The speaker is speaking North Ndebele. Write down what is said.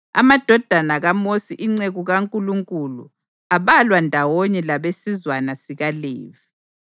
Amadodana kaMosi inceku kaNkulunkulu abalwa ndawonye labesizwana sikaLevi.